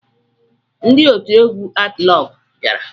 Ndị otu egwu atịlọgwụ bịara